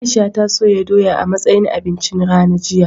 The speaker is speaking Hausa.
Aisha ta soya doya a matsayin abincin rana jiya.